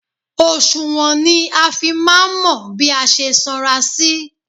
Òsùnwọ̀n ni a fi máa ń mọ bí a ṣe sanra sí.